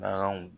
Baganw